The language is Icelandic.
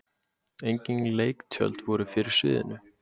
engin leiktjöld voru fyrir sviðinu